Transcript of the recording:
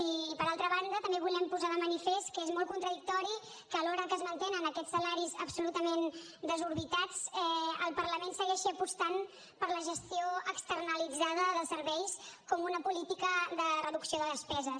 i per altra banda també volem posar de manifest que és molt contradictori que alhora que es mantenen aquests salaris absolutament desorbitats el parlament segueixi apostant per la gestió externalitzada de serveis com una política de reducció de despeses